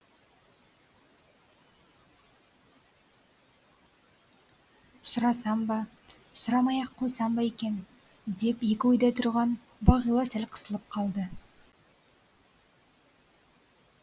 сұрасам ба сұрамай ақ қойсам ба екен деп екі ойда тұрған бағила сәл қысылып қалды